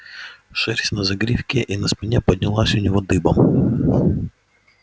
шерсть на загривке и на спине поднялась у него дыбом